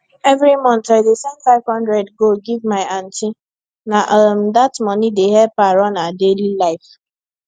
every month i dey send five hundred go give my aunty na um that money dey help her run her daily life